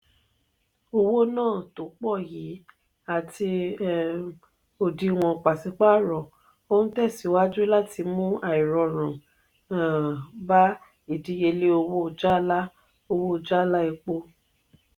owo-na to pọ yìí àti um òdiwọn pasipaaro o n tẹsiwaju láti mú airorun um bá ìdíyelé owó jala owó jala epo.